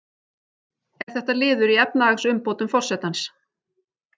Er þetta liður í efnahagsumbótum forsetans